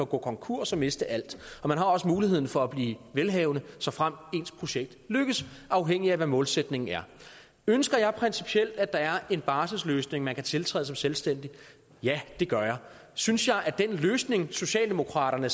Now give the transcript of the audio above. gå konkurs og miste alt og man har muligheden for at blive velhavende såfremt ens projekt lykkes afhængigt af hvad målsætningen er ønsker jeg principielt at der er en barselsløsning man kan tiltræde som selvstændig ja det gør jeg synes jeg at den løsning socialdemokraterne